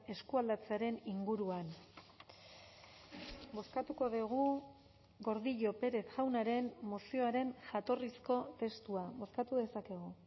eskualdatzearen inguruan bozkatuko dugu gordillo pérez jaunaren mozioaren jatorrizko testua bozkatu dezakegu